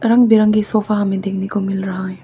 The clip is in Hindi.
रंग बिरंगे सोफा हमें देखने को मिल रहा है।